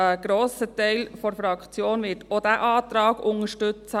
Ein grosser Teil der Fraktion wird auch diesen Antrag unterstützen.